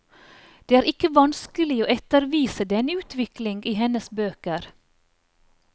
Det er ikke vanskelig å ettervise denne utvikling i hennes bøker.